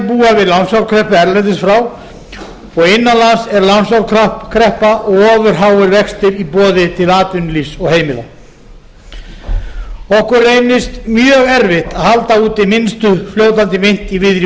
við lánsfjárkreppu erlendis frá og innan lands er lánsfjárkreppa og ofur háir vextir í boði til atvinnulífs og heimila okkur reynist mjög erfitt að halda úti minnstu fljótandi mynt í víðri